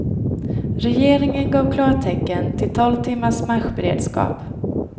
Regeringen gav klartecken till tolv timmars marschberedskap.